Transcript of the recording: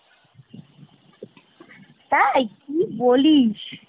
তাই? কি বলিস!